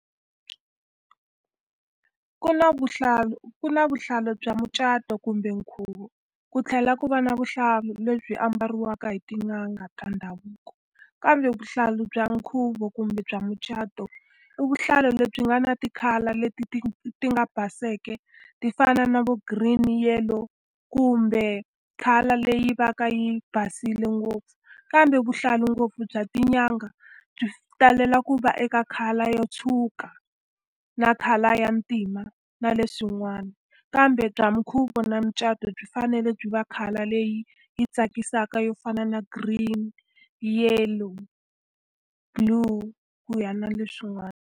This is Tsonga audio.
Ku na vuhlalu ku na vuhlalu bya mucato kumbe nkhuvo, ku tlhela ku va na vuhlalu lebyi ambariwaka hi tin'anga ta ndhavuko. Kambe vuhlalu bya nkhuvo kumbe bya mucato, i vuhlalu lebyi nga na ti-color leti ti ti nga baseke ti fana na vo green, yellow kumbe color leyi va ka yi basile ngopfu. Kambe vuhlalu ngopfu bya tinyanga byi talela ku va eka khale ro tshwuka na color ya ntima, na leswin'wana. Kambe bya minkhuvo na mucato byi fanele byi va color leyi yi tsakisaka yo fana na green, yellow, blue ku ya na leswin'wana.